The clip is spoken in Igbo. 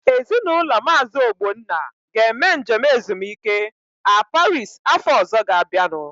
Ezinaụlọ Maazi Ogbonna ga-eme njem ezumike a Paris afọ ọzọ ga-abịanu.